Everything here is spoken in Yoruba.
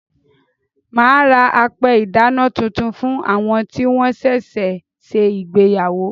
Màá ra apẹ ìdáná titun fún àwọn tí wọ́n sẹ̀sẹ̀ se ìgbéyàwó.